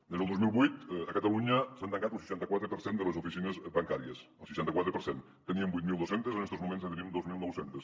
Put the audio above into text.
des del dos mil vuit a catalunya s’ha tancat un seixanta quatre per cent de les oficines bancàries el seixanta quatre per cent en teníem vuit mil dos cents en estos moments ne tenim dos mil nou cents